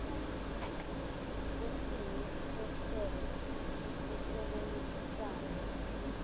sesini sesebe sisebenzisana